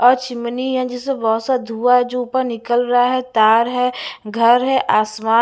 और चिमनी है जिससे बहुत सा धुँआ है जो ऊपर निकल रहा है तार है घर है आसमान--